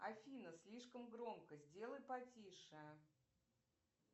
афина слишком громко сделай потише